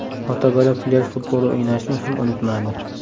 Ota-bola plyaj futboli o‘ynashni ham unutmadi.